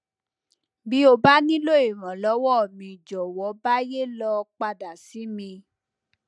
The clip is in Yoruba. bí o bá nílò ìrànwọ míì jòwọ báyé lọ padà sí mi